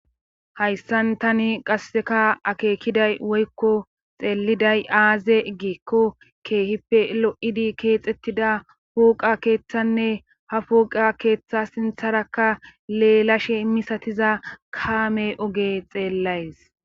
hayssan tani qasseka akeekiday woykko xeelliday aaze giikko keehippe lo7idi keexettida puuqa keeththanne ha puuqa keeththa sintharakka leelashe immisatiza kaame oge xeellays